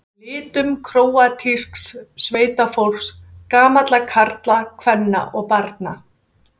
litum króatísks sveitafólks, gamalla karla, kvenna og barna.